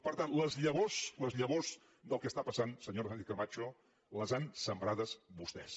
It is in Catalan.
per tant les llavors les llavors del que està passant senyora sánchez camacho les han sembrades vostès